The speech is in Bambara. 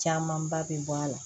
Camanba bɛ bɔ a la